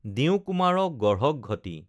দিওঁ কুমাৰক গঢ়ক ঘটি